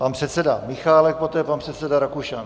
Pan předseda Michálek, poté pan předseda Rakušan.